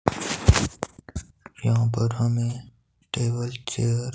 यहां पर हमें टेबल चेयर --